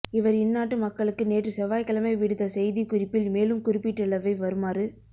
இவர் இந்நாட்டு மக்களுக்கு நேற்று செவ்வாய்க்கிழமை விடுத்த செய்தி குறிப்பில் மேலும் குறிப்பிட்டுள்ளவை வருமாறு